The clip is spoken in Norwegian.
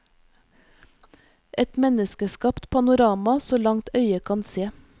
Et menneskeskapt panorama så langt øyet kan se.